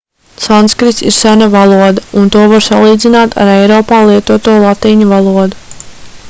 sanskrits ir sena valoda un to var salīdzināt ar eiropā lietoto latīņu valodu